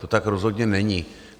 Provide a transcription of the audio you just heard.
To tak rozhodně není.